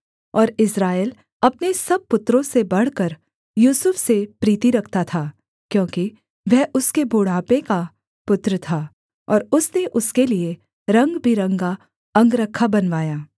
और इस्राएल अपने सब पुत्रों से बढ़कर यूसुफ से प्रीति रखता था क्योंकि वह उसके बुढ़ापे का पुत्र था और उसने उसके लिये रंगबिरंगा अंगरखा बनवाया